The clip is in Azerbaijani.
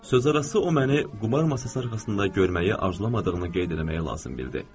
Sözə arası o məni qumar masası arxasında görməyi arzu etmədiyini qeyd eləməyi lazım bildi.